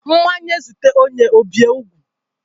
Mmanya zute onye ọ bie ugwu